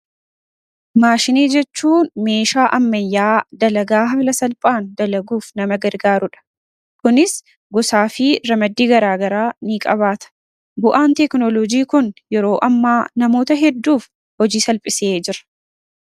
Maashinii jechuun meeshaa ammayyaa dalagaa haala salphaan dalaguuf nama gargaaruudha. Kunis gosaa fi ramaddii garaagaraa ni qabaata. Bu'aan teeknoloojii kun yeroo ammaa namoota hedduuf hojii salphisee jira.